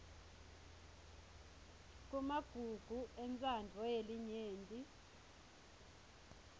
kumagugu entsandvo yelinyenti